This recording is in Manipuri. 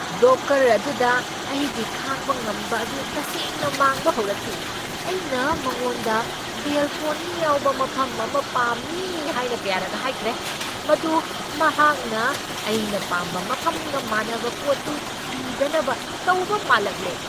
ꯕ꯭ꯔꯣꯀꯔ ꯑꯗꯨꯗ ꯑꯩꯒꯤ ꯈꯥꯡꯕ ꯉꯝꯕ ꯑꯗꯨ ꯇꯁꯦꯡꯅ ꯃꯥꯡꯕ ꯍꯧꯔꯛꯈꯤ ꯫ ꯑꯩꯅ ꯃꯥꯡꯒꯣꯟꯗ ꯕꯦꯜꯀꯣꯅꯤ ꯌꯥꯎꯕ ꯃꯐꯝ ꯑꯃ ꯄꯥꯝꯃꯤ ꯍꯥꯏꯅ ꯀꯌꯥꯔꯛ ꯍꯥꯏꯈ꯭ꯔꯦ꯫ ꯃꯗꯨ ꯃꯍꯥꯛꯅ ꯑꯩꯅ ꯄꯥꯝꯕ ꯃꯐꯝꯒ ꯃꯥꯅꯕ ꯄꯣꯠꯇꯨ ꯊꯤꯗꯅꯕ ꯇꯧꯕ ꯃꯥꯜꯂꯛꯂꯦ꯫